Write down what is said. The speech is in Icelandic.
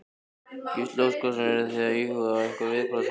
Gísli Óskarsson: Eruð þið að íhuga einhver viðbrögð svona önnur?